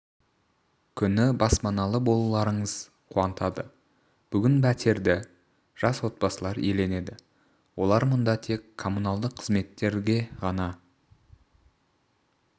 күні баспаналы болуларыңыз қуантады бүгін пәтерді жас отбасылар иеленеді олар мұнда тек коммуналдық қызметтерге ғана